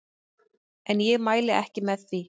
En ég mæli ekki með því.